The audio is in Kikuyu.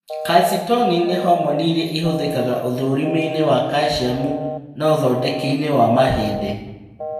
Calcitonin nĩ homoni ĩrĩa ĩhũthĩkaga ũthũrimi-inĩ wa kaciamu na ũthondeki-inĩ wa mahĩndĩ